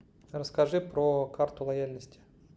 расскажи про карту лояльности